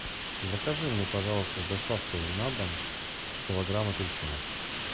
закажи мне пожалуйста с доставкой на дом килограмм апельсинов